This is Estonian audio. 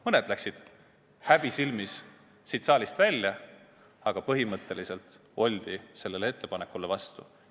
Mõned läksid häbi silmis siit saalist välja, aga põhimõtteliselt oldi sellele ettepanekule vastu.